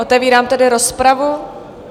Otevírám tedy rozpravu.